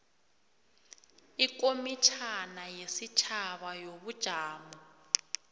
ikomitjhana yesitjhaba yobujamo